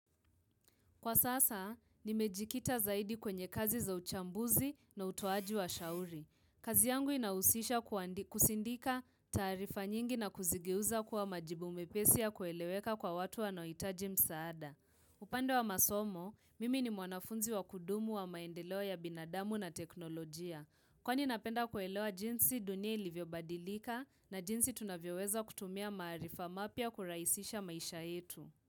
Kwa sasa, nimejikita zaidi kwenye kazi za uchambuzi na utoaji wa shauri. Kazi yangu inahusisha kusindika taarifa nyingi na kuzigeuza kuwa majibu mepesi yakueleweka kwa watu wanaohitaji msaada. Upande wa masomo, mimi ni mwanafunzi wa kudumu wa maendeleo ya binadamu na teknolojia. Kwani napenda kuelewa jinsi dunia ilivyobadilika na jinsi tunavyoweza kutumia maarifa mapya kurahisisha maisha yetu.